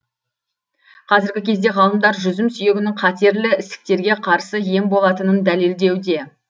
қазіргі кезде ғалымдар жүзім сүйегінің қатерлі ісіктерге қарсы ем болатынын дәлелдеуде